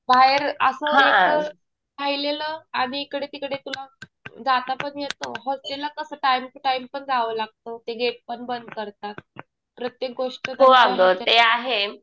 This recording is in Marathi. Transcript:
बाहेर असं एकटं राहिलेलं आणि इकडे तिकडे तुला जाता पण येतं. हॉस्टेलला कसं टाइम टु टाइम पण जावं लागतं. ते गेट पण बंद करतात. प्रत्येक गोष्ट